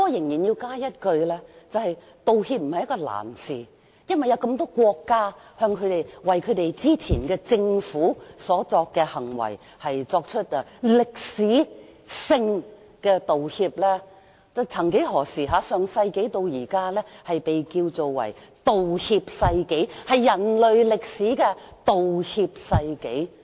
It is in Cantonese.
然而，我仍要指出，道歉並非難事，因為有那麼多國家為本身政府之前的行為作出歷史性的道歉，曾幾何時，上世紀被稱為"道歉世紀"，是人類歷史上的道歉世紀。